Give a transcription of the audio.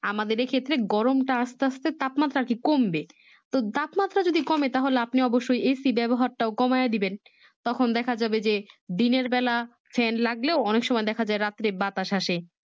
আমাদের এ ক্ষেতের গরমটা আস্তে আস্তে তাপমাত্রা আরকি কমবে তো তাপমাত্রা যদি কমে তাহলে আপনি অবশই AC ব্যবহার টাও কমিয়ে দেবেন তখন দেখা যাবে যে দিনেরবেলা Fan লাগলেও অনেক সময় দেখা যাই রাত্রে বাতাস আসে